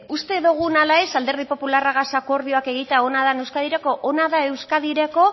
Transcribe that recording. uste dugun ala ez alderdi popularragaz akordioak egitea ona da euskadirako ona da euskadirako